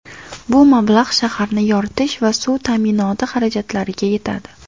Bu mablag‘ shaharni yoritish va suv ta’minoti xarajatlariga yetadi.